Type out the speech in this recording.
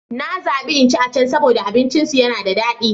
Na zabi in ci a can saboda abincinsu yana da dadi.